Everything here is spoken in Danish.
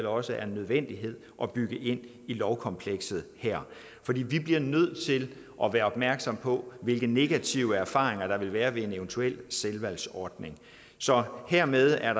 også er en nødvendighed at bygge ind i lovkomplekset her vi bliver nødt til at være opmærksomme på hvilke negative erfaringer der vil være ved en eventuel tilvalgsordning hermed er